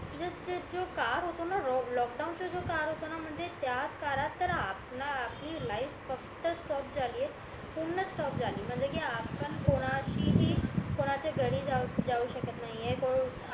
लोकलडाउन चा जो काळ होता ना म्हणजे त्या काळात तर आपला आपली लाईफ फक्त स्टॉप झाली आहे पूर्ण स्टॉप झाली म्हणजे कि आपण कोणाशीही कोणाच्या घरी जाऊ शकत नाहीये